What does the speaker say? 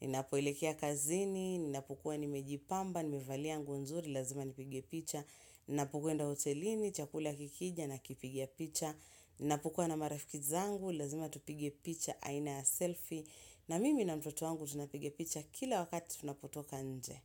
Ninapo elekea kazini, ninapokuwa nimejipamba, nimevalia nguo nzuri, lazima nipige picha. Ninapokwenda hotelini, chakula kikija, nakipiga picha. Ninapokuwa na marafiki zangu, lazima tupige picha, aina ya selfie. Na mimi na mtoto wangu, tunapiga picha kila wakati tunapotoka nje.